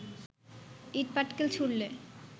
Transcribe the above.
ইট-পাটকেল ছুড়লে